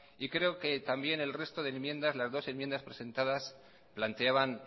creo que también el resto de enmiendas las dos enmiendas presentadas planteaban